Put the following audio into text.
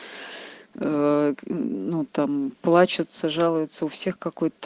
ну там плачется жалуется у всех какой-то